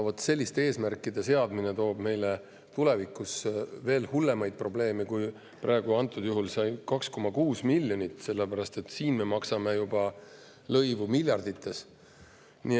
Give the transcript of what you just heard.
Vot selliste eesmärkide seadmine toob meile tulevikus veel hullemaid probleeme kui praegusel juhul see 2,6 miljonit, sellepärast et siis me maksame lõivu juba miljardites.